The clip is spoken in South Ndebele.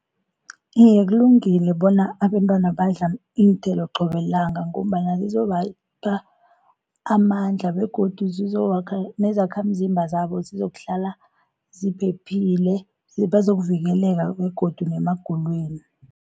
Iye kulungile bona abentwana badle iinthelo qobe lilanga, ngombana zizobapha amandla, begodu nezakhamzimba zabo zizokuhlala ziphephile bazokuvikeleka, begodu nemagulweni.